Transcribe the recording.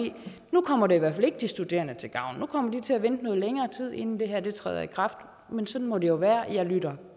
nu kommer det i hvert fald ikke de studerende til gavn nu kommer de til at vente noget længere tid inden det her træder i kraft men sådan må det jo være jeg lytter